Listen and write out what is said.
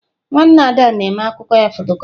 Nwanne Ada na-mee akụkọ ya fotocopị.